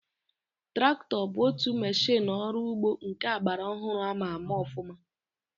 Traktọ bụ otu meshịnụ ọrụ ugbo nke agbara ọhụrụ ama ama ọfụma